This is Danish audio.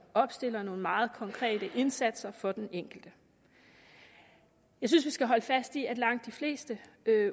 opstiller nogle meget konkrete indsatser for den enkelte jeg synes vi skal holde fast i at langt de fleste